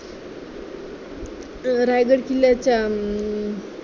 अं रायगड किल्ल्याच्या अं